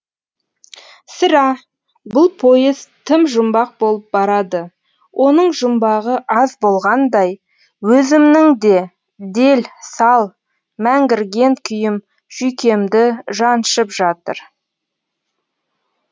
сірә бұл поезд тым жұмбақ болып барады оның жұмбағы аз болғандай өзімнің де дел сал мәңгірген күйім жүйкемді шаншып жә